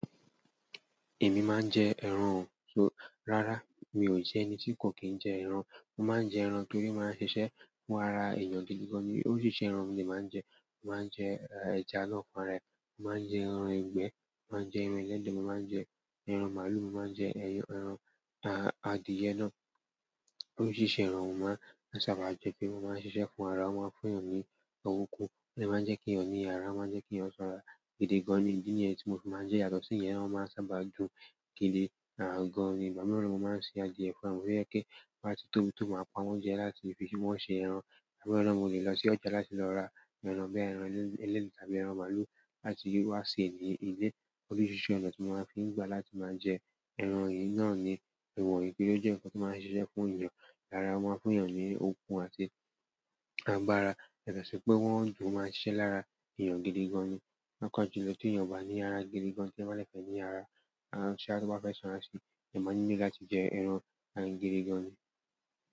Èmi máa ń jẹ ẹran o, so rárá mi ò jẹ ẹni tí kò kì í jẹ ẹran. Mo máa ń jẹ ẹran torí o máa ń ṣiṣẹ́ fún ara èèyàn gidi gan ni. Oríṣiríṣi ẹran nin mo dee ma nje. Mo máa ń jẹ ẹja lọ́kàn rẹ, mo máa ń jẹ ẹran ìgbẹ́, mo máa ń jẹ ẹran ẹlẹ́de. Mo máa ń jẹ ẹran màlúù, mo máa ń jẹ ẹran adìẹ náà. Oríṣiríṣi ẹran ni mo máa ń sábà jẹ pe o máa ń ṣiṣẹ́ fún ara, wọ́n máa ń fún èèyàn ní okún, ó máa ń jẹ́ kí èèyàn ní ara, ó máa ń jẹ́ kí èèyàn sanra gidi gan ni. Kíni ẹni tí mo fi máa ń jẹ yàtọ̀ sí yẹn, ẹran máa ń sábà dùn gidi gan ni. Bàbá mi ọlọ́run máa ń ṣe adìẹ fún wa, mo ní kí wọ́n máa tóbi tóbi máa pa wọ́n jẹ láti fi ṣe bó ṣe ẹran. Torí be náà mo ò lè lọ sí ọjà láti lọ ra ẹran bẹ́ẹ̀, ẹran ẹlẹ́de tàbí ẹran màlúù láti wá sè ní ilé. Oríṣiríṣi ọ̀nà tí wọ́n máa ń fi gba láti máa jẹ ẹran yìí náà ni èwọ̀ ni kí ó jẹ́ ǹkan tí màá ń ṣiṣẹ́ fún èèyàn lára wọn, fún èèyàn ní orúkún àti agbára. Yàtọ̀ sí pé wọ́n dùn i máa ń ṣẹ́ lára èèyàn gidi gan ni. Paapa jùlọ ti ènìyàn ba ni ara gidigan, to ba de fe nin ara sha to banfe sanra si o nidi láti je ẹran si.